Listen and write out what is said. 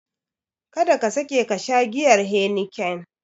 Kada ka sake kasha giyar Heniken!